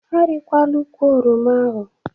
Arịlakwala ukwụ oroma ahụ.